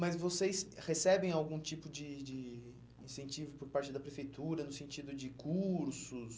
Mas vocês recebem algum tipo de de incentivo por parte da prefeitura, no sentido de cursos?